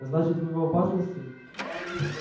значит вы в опасности